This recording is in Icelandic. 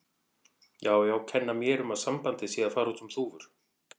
Já, já, kenna mér um að sambandið sé að fara út um þúfur.